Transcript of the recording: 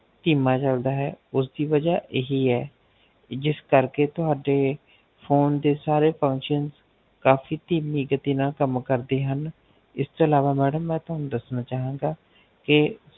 ਇਹ ਥੀਮਾਂ ਚਲਦਾ ਹੈ ਉਸ ਦੀ ਵਜਾ ਏਹੀ ਹੈ ਜਿਸ ਕਰ ਕੇ ਤੁਹਾਡੇ Phone ਦੇ ਸਾਰੇ Functions ਕਾਫ਼ੀ ਤਹਿਮੀ ਗਤੀ ਨਾਲ ਕੰਮ ਕਰਦੇ ਹਨ ਇਸ ਤੋਂ ਅਲਾਵਾ ਮੈਂ ਤੁਹਾਨੂੰ ਦੱਸਣਾ ਚਾਹਵਾਂਗਾ